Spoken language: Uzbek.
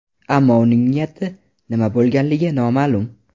Ammo uning niyati nima bo‘lganligi noma’lum.